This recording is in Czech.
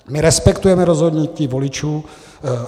My respektujeme rozhodnutí voličů.